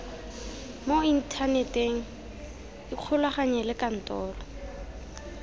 mo inthaneteng ikgolaganye le kantoro